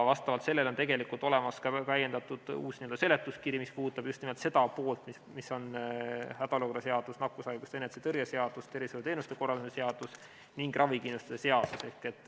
Vastavalt sellele on olemas ka täiendatud seletuskiri, mis puudutab just nimelt hädaolukorra seadust, nakkushaiguste ennetamise ja tõrje seadust, tervishoiuteenuste korraldamise seadust ning ravikindlustuse seadust.